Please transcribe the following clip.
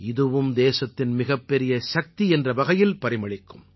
இதுவும் தேசத்தின் மிகப் பெரிய சக்தி என்ற வகையில் பரிமளிக்கும்